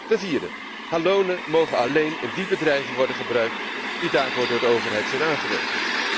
Ten vierde, halonen mogen alleen in die bedrijven worden gebruikt die daarvoor door de overheid zijn aangewezen.